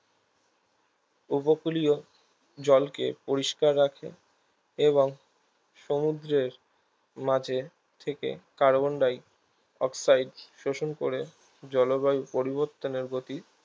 উপকূলীয় জল কে পরিষ্কার রাখে এবং সমুদ্রের মাঝে থেকে কার্বন ডাই অক্সাইড শোষণ করে জলবায়ু পরিবর্তনের প্রতি